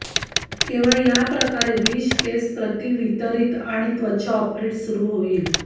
केवळ या प्रकारे विष केस प्रती वितरीत आणि त्वचा ऑपरेट सुरू होईल